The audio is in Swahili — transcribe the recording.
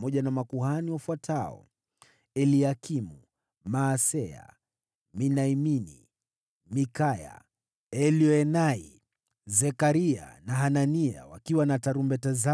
na makuhani wafuatao: Eliakimu, Maaseya, Miniamini, Mikaya, Elioenai, Zekaria na Hanania wakiwa na tarumbeta zao,